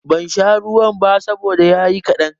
Ban sha ruwan ba saboda ya yi kaɗan.